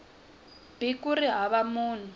b ku ri hava munhu